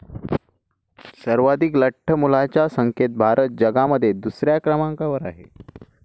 सर्वाधीक लठ्ठ मुलांच्या संख्येत भारत जगामध्ये दुसऱ्या क्रमांकावर आहे.